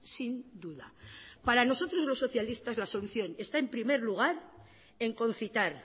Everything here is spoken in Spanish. sin duda para nosotros los socialistas la solución está en primer lugar en concitar